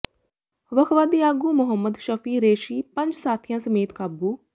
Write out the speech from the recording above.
ਵੱਖਵਾਦੀ ਆਗੂ ਮੁਹੰਮਦ ਸ਼ਫੀ ਰੇਸ਼ੀ ਪੰਜ ਸਾਥੀਆਂ ਸਮੇਤ ਕਾਬੂ